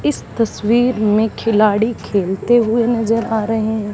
इस तस्वीर में खिलाड़ी खेलते हुए नजर आ रहे है।